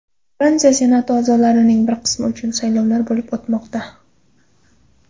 Fransiya Senati a’zolarining bir qismi uchun saylovlar bo‘lib o‘tmoqda.